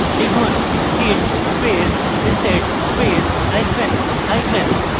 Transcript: লিখুন: git space reset space hyphen hyphen hard